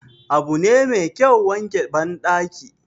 Abu ne Mai kyau wanke bandaki